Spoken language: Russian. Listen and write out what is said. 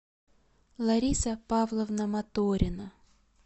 лариса павловна моторина